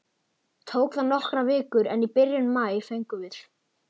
Tók það nokkrar vikur, en í byrjun maí fengum við